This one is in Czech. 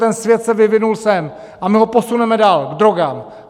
Ten svět se vyvinul sem a my ho posuneme dál, k drogám.